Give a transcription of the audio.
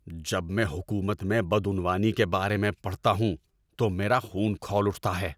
جب میں حکومت میں بدعنوانی کے بارے میں پڑھتا ہوں تو میرا خون کھول اٹھتا ہے۔